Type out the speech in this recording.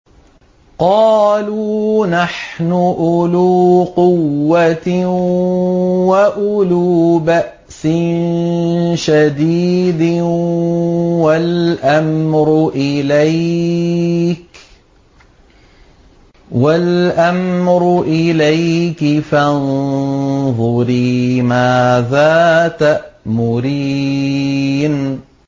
قَالُوا نَحْنُ أُولُو قُوَّةٍ وَأُولُو بَأْسٍ شَدِيدٍ وَالْأَمْرُ إِلَيْكِ فَانظُرِي مَاذَا تَأْمُرِينَ